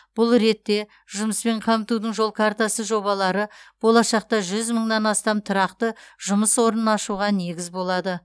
бұл ретте жұмыспен қамтудың жол картасы жобалары болашақта жүз мыңнан астам тұрақты жұмыс орнын ашуға негіз болады